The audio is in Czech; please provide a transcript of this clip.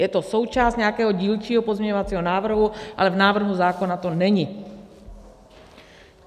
Je to součást nějakého dílčího pozměňovacího návrhu, ale v návrhu zákona to není.